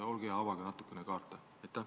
Olge hea, avage natukene kaarte!